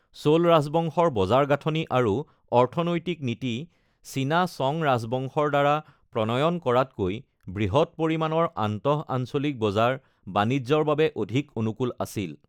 চোল ৰাজবংশৰ বজাৰ গাঁথনি আৰু অৰ্থনৈতিক নীতি চীনা চং ৰাজবংশৰ দ্বাৰা প্ৰণয়ন কৰাতকৈ বৃহৎ পৰিমাণৰ, আন্তঃআঞ্চলিক বজাৰ বাণিজ্যৰ বাবে অধিক অনুকূল আছিল।